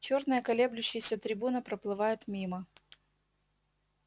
чёрная колеблющаяся трибуна проплывает мимо